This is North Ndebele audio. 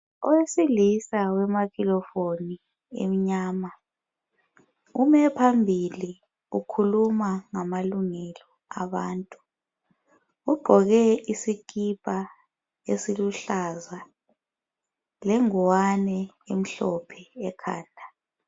Owesilisa owemakhirofoni emnyama ume phambili ukhuluma ngamalungelo abantu. Ugqoke isikipa esiluhlaza lengwane elombala omhlophe.